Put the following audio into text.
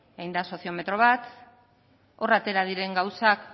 egin da soziometro bat hor atera diren gauzak